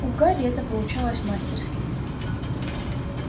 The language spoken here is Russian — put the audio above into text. у гарри это получалось мастерски